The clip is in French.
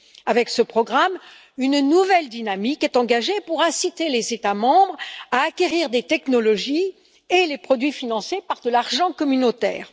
Avec ce programme, une nouvelle dynamique est engagée pour inciter les États membres à acquérir les technologies et les produits financés par de l'argent communautaire.